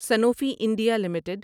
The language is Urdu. Sanofi India limited